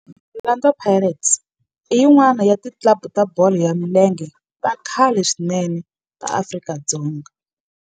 Orlando Pirates i yin'wana ya ti club ta bolo ya milenge ta khale swinene ta Afrika.